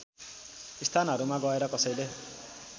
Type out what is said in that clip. स्थानहरूमा गएर कसैले